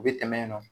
U bɛ tɛmɛ yen nɔ